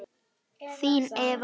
Þín Eva Lind.